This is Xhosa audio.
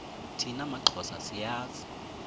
thina maxhosa siyazi